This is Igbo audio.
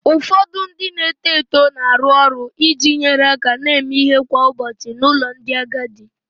Ụfọdụ ndị na-eto eto na-arụ ọrụ iji nyere aka na-eme ihe kwa ụbọchị n'ụlọ ndị agadi